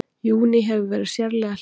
Júní hefur verið sérlega hlýr